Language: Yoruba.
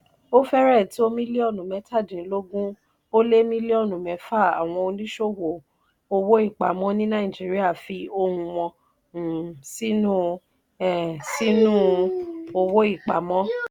ó fẹ́rẹ̀ẹ́ tó mílíọ̀nù mẹ́tàdínlọ́gún ó lé mílíọ̀nù mẹ́fà àwọn oníṣòwò owó-ìpamọ́ ní nàìjíríà fi ohun wọn um sínú um sínú owó-ìpamọ́.